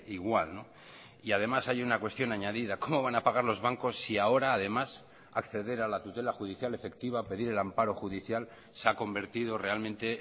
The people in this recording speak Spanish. igual y además hay una cuestión añadida cómo van a pagar los bancos si ahora además acceder a la tutela judicial efectiva pedir el amparo judicial se ha convertido realmente